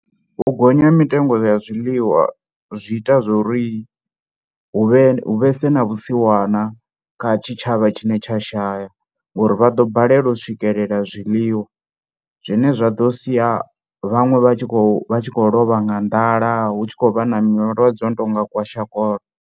U gonya ha mitengo ya zwiḽiwa zwi ita zwo ri hu vhe hu vhese na vhusiwana kha tshitshavha tshine tsha shaya, ngori vha ḓo balelwa u swikelela zwiḽiwa zwine zwa ḓo sia vhaṅwe vha tshi khou vha tshi khou lovha nga nḓala, hu tshi khou vha na malwadze ano tou nga kwashikoro.